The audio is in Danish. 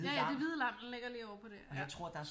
Ja ja det hvide lam den ligger lige ovre på det ja